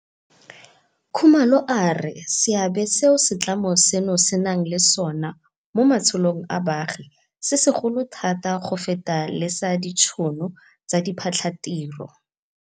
Khumalo a re seabe seo setlamo seno se nang le sona mo matshelong a baagi se segolo thata go feta le sa ditšhono tsa diphatlhatiro.